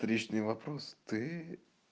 встречный вопрос ты